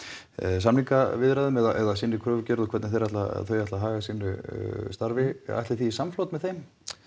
samningaviðræðum eða sinni kröfugerð og hvernig þau ætla þau ætla að haga sínu starfi ætlið þið í samflot með þeim